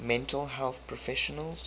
mental health professionals